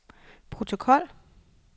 protokol